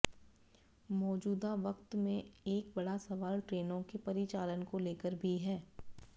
मौजूदा वक्त में एक बड़ा सवाल ट्रेनों के परिचालन को लेकर भी है